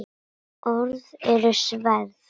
Orð eru sverð.